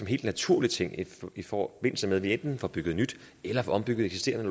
helt naturlig ting i forbindelse med at vi enten får bygget nyt eller ombygget eksisterende